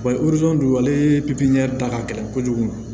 Balizon dugu ale da ka gɛlɛn kojugu